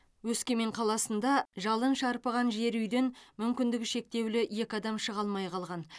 өскемен қаласында жалын шарпыған жер үйден мүмкіндігі шектеулі екі адам шыға алмай қалған